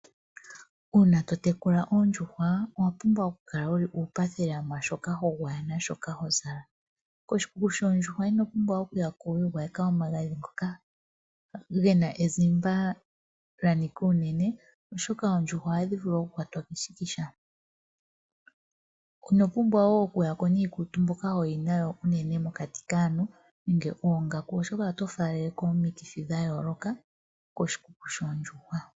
Uuna to tekula oondjuhwa owa pumbwa okukala wu li uupathi lela mwaashoka ho gwaya naashoka hozala. Koshikuku shoondjuhwa ino pumbwa okuya ko wiigwayeka omagadhi ngoka ge na ezimba lya nika unene oshoka oondjuhwa ohadhi vulu okukwatwa keshikisha. Ino pumbwa wo okuya ko niikutu mbyoka hoyi nayo unene mokati kaantu nenge oongaku oshoka oto faaleleko omikithi dha yooloka koshikuku shoondjuhwa.